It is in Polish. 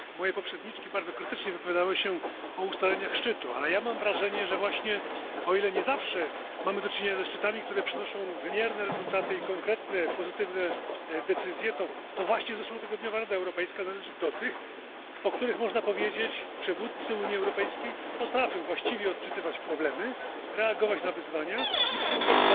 Moje poprzedniczki bardzo krytycznie wypowiadały się o ustaleniach szczytu, ale ja mam wrażenie, że właśnie o ile nie zawsze mamy do czynienia ze szczytami, które przynoszą wymierne rezultaty i konkretne pozytywne decyzje, to właśnie zeszłotygodniowa Rada Europejska należy do tych, o których można powiedzieć, że przywódcy Unii Europejskiej potrafią właściwie odczytywać problemy, reagować na wyzwania i próbować